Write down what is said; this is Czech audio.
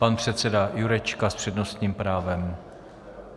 Pan předseda Jurečka s přednostním právem.